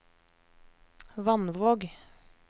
Vannvåg